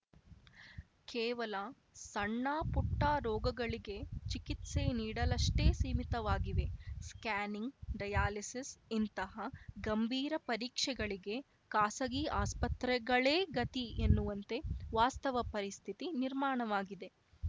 ಕೇವಲ ಸಣ್ಣಪುಟ್ಟರೋಗಗಳಿಗೆ ಚಿಕಿತ್ಸೆ ನೀಡಲಷ್ಟೇ ಸೀಮಿತವಾಗಿವೆ ಸ್ಕ್ಯಾ‌ನಿಂಗ್‌ ಡಯಾಲಿಸಿಸ್‌ ಇಂತಹ ಗಂಭೀರ ಪರೀಕ್ಷೆಗಳಿಗೆ ಖಾಸಗಿ ಆಸ್ಪತ್ರೆಗಳೇ ಗತಿ ಎನ್ನುವಂತೆ ವಾಸ್ತವ ಪರಿಸ್ಥಿತಿ ನಿರ್ಮಾಣವಾಗಿದೆ